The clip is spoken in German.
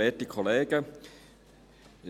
Ich